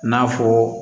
N'a fɔ